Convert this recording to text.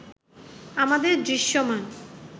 আমাদের দৃশ্যমান